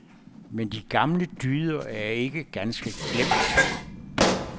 Men de gamle dyder er ikke ganske glemt.